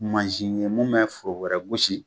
Mansin ye mun mɛ foro wɛrɛ gosi.